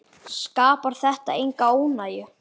Skapar þetta enga óánægju?